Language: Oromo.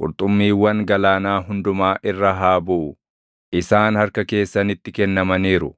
qurxummiiwwan galaanaa hundumaa irra haa buʼu; isaan harka keessanitti kennamaniiru.